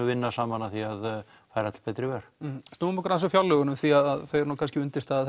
vinna saman að því að færa til betri vegar snúum okkur aðeins að fjárlögunum því að þau eru kannski undirstaða